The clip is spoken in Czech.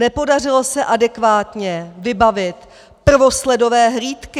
Nepodařilo se adekvátně vybavit prvosledové hlídky!